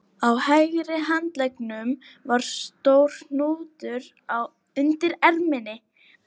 Á hægri handleggnum var stór hnútur undir erminni